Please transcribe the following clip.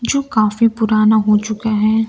जो काफी पुराना हो चुका है।